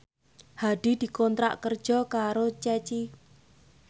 Hadi dikontrak kerja karo Ceci